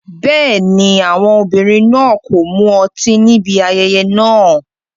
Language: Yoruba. Bẹ́ẹ̀ni, àwọn obìnrin náà kò mu ọtí níbi ayẹyẹ náà.